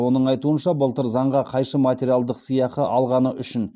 оның айтуынша былтыр заңға қайшы материалдық сыйақы алғаны үшін